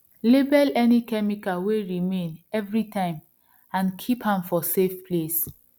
label any chemical wey remain everytime and keep am for safe place